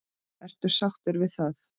Ertu sáttur við það?